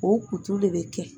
O kutu le bɛ kɛ